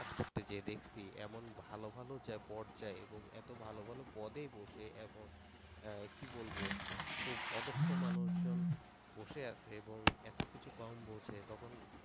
করতে যেয়ে দেখছি এমন ভালো ভালো যা পর্যায়ে কত ভালো ভালো পদে বসে এবং কি বলবো? খুব অদক্ষ মানুষজন বসে আছে এবং এত কিছু কম বুঝে তখন